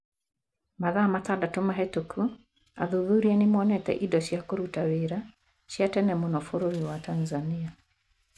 Mathaa matandatũ mahĩtũku athuthuria nĩ monete indo cia kũruta wĩra cia tene mũno bũrũri wa Tanzania.